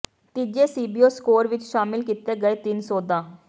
ਤੀਜੇ CBO score ਵਿੱਚ ਸ਼ਾਮਿਲ ਕੀਤੇ ਗਏ ਤਿੰਨ ਸੋਧਾਂ